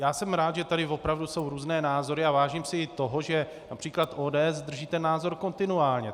Já jsem rád, že tady opravdu jsou různé názory, a vážím si i toho, že například ODS drží ten názor kontinuálně.